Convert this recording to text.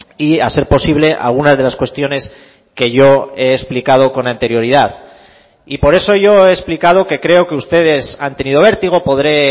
y a ser posible algunas de las cuestiones que yo he explicado con anterioridad y por eso yo he explicado que creo que ustedes han tenido vértigo podré